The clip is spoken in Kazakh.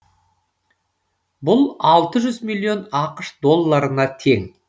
бұл алты жүз миллион ақш долларына тең